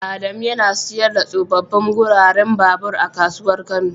Adamu yana siyar da tsofaffin guraren babur a kasuwar kano.